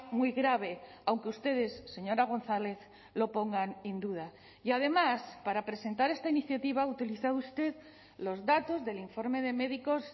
muy grave aunque ustedes señora gonzález lo pongan en duda y además para presentar esta iniciativa ha utilizado usted los datos del informe de médicos